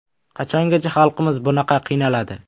Qachongacha xalqimiz bunaqa qiynaladi.